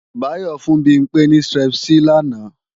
Báyọ́ fún Bimpé ní Strepsil làná